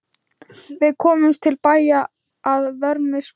Við komumst til bæja að vörmu spori.